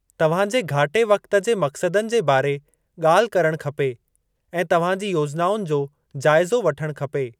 तव्हांजे घाटे वक़्ति जे मक़्सदनि जे बारे ॻाल्हि करणु खपे ऐं तव्हांजी योजनाउनि जो जाइज़ो वठणु खपे।